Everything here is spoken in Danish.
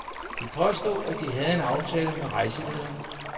De påstod, at de havde en aftale med rejselederen.